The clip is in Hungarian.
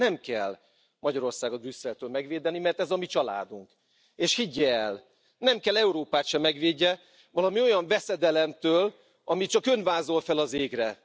Nem kell Magyarországot Brüsszeltől megvédeni, mert ez a mi családunk, és higgye el, nem kell Európát sem megvédenie valami olyan veszedelemtől, amit csak Ön vázol fel az égre.